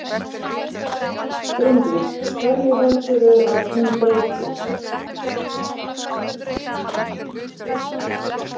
Bryndís: Hverju heldurðu að hún breyti?